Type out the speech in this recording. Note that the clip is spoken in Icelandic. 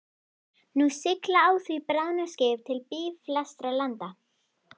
Nú sigla á því bráðnuð skip til blýfastra landa.